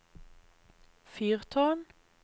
fyrtårn